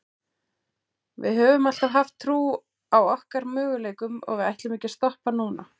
Við höfum alltaf haft trú á okkar möguleikum og við ætlum ekki að stoppa núna.